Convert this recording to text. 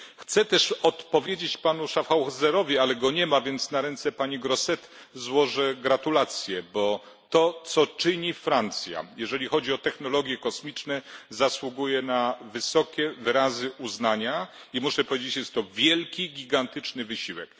Chcę też odpowiedzieć panu Schaffhauserowi, ale go nie ma, więc na ręce pani Grossetête złożę gratulacje, bo to co czyni Francja, jeżeli chodzi o technologie kosmiczne, zasługuje na wyrazy szczególnego uznania i muszę powiedzieć jest to wielki, gigantyczny wysiłek.